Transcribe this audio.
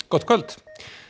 gott kvöld